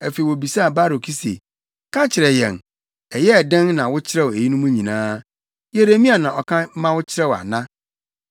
Afei wobisaa Baruk se, “Ka kyerɛ yɛn, ɛyɛɛ dɛn na wokyerɛw eyinom nyinaa? Yeremia na ɔka ma wokyerɛw ana?”